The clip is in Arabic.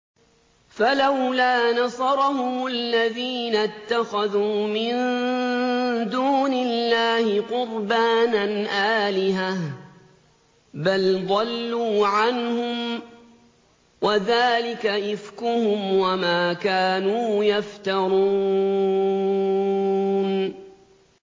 فَلَوْلَا نَصَرَهُمُ الَّذِينَ اتَّخَذُوا مِن دُونِ اللَّهِ قُرْبَانًا آلِهَةً ۖ بَلْ ضَلُّوا عَنْهُمْ ۚ وَذَٰلِكَ إِفْكُهُمْ وَمَا كَانُوا يَفْتَرُونَ